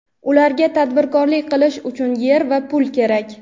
Ularga tadbirkorlik qilish uchun yer va pul kerak.